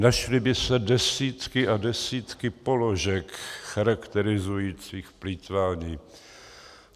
Našly by se desítky a desítky položek charakterizujících plýtvání.